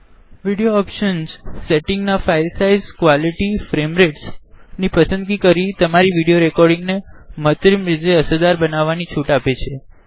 video optionsસેટિંગ મા file size quality અને ફ્રેમ રેટ્સ નિ પસંદગી કરી તમારી વિડીઓ રેકોડીંગ ને માંત્ર્મીઝ અસરદાર બનવાનિ છુટ આપે છે